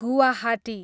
Guwahati